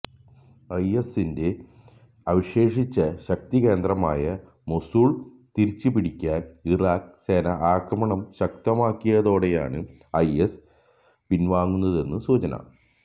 ഐഎസിന്റെ അവശേഷിച്ച ശക്തികേന്ദ്രമായ മൊസൂള് തിരിച്ചുപിടിക്കാന് ഇറാഖ് സേന ആക്രമണം ശക്തമാക്കിയതോടെയാണ് ഐഎസ് പിന്വാങ്ങുന്നതെന്നാണ് സൂചന